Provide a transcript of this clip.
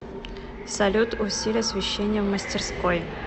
салют усиль освещение в мастерской